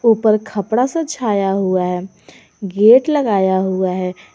ऊपर खपडा सा छाया हुआ है गेट लगाया हुआ है।